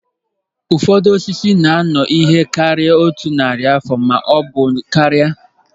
Ụfọdụ osisi na-anọ ihe karịrị otu narị afọ ma ọ bụ karịa